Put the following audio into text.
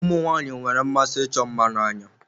Ụmụ nwaanyị nwere mmasi ịchọ mma n'anya.